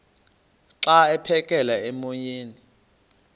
xa aphekela emoyeni